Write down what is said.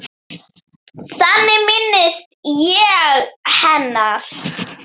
Þannig minnist ég hennar.